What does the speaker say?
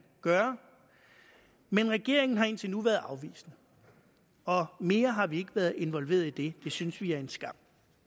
gøre men regeringen har indtil nu været afvisende mere har vi ikke været involveret i det det synes vi er en skam